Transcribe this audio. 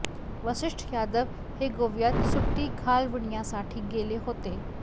वसिष्ठ यादव हे गोव्यात सुट्टी घालविण्यासाठी गेले होते